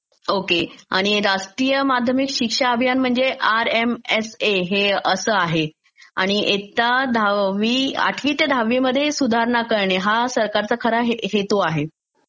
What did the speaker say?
Okay आणि राष्ट्रीय माध्यमिक शिक्षा अभियान म्हणजे आरएमएसए हे असं आहे आणि एकदा दहावी..आठवी ते दहावीमध्ये सुधारणा करणे हा सरकारचा खरा हेतू आहे.